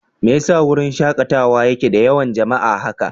Me yasa wurin shakatawa yake da yawan jama'a haka?